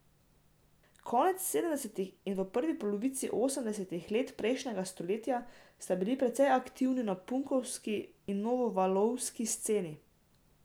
Konec sedemdesetih in v prvi polovici osemdesetih letih prejšnjega stoletja ste bili precej aktivni na punkovski in novovalovski sceni.